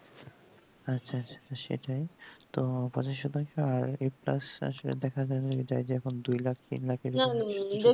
আচ্ছা আচ্ছা সেটাই তো পঁচাশি শতাংশ আর a plus দেখা যাবে যাই যে এখন দুই লাখ তিন লাখ এরকম